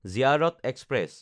Ziyarat express